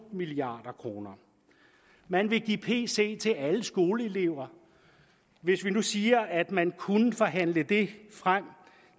milliard kroner man vil give en pc til alle skoleelever hvis vi nu siger at man kunne forhandle det frem